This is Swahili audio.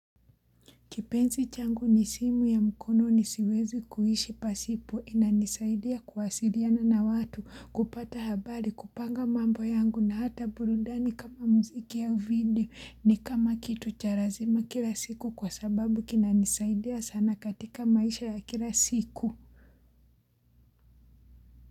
Kipenzi changu ni simu ya mkononi siwezi kuishi pasipo inanisaidia kuwasiliana na watu kupata habari kupanga mambo yangu na hata burundani kama muziki ya video ni kama kitu cha lazima kila siku kwa sababu kinanisaidia sana katika maisha ya kila siku.